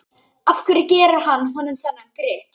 Af hverju gerir hann honum þennan grikk?